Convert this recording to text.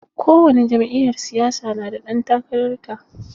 Kowani jam'iyyar siyasa na da ɗan takarar ta.